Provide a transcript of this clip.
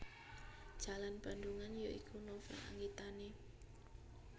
Jalan Bandungan ya iku novel anggitane